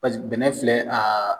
Paseke bɛnɛ filɛ